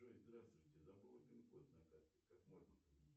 джой здравствуйте забыла пин код на карте как можно